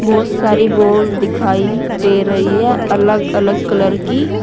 बहुत सारी बॉल दिखाई दे रही है अलग अलग कलर की।